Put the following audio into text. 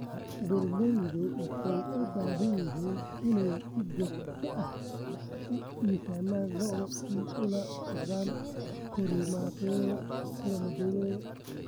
Beeraleydu waxay u baahan yihiin inay si joogto ah u miisaamaan lo'da si ay ula socdaan korriimadooda.